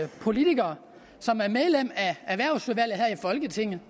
politiker som er medlem af erhvervsudvalget her i folketinget